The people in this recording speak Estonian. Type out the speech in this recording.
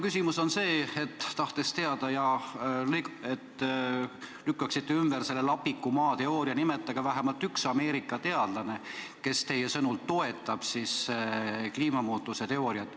Selleks et te lükkaksite ümber lapiku maa teooria, nimetage vähemalt üks Ameerika teadlane, kes teie sõnul toetab kliimamuutuse teooriat.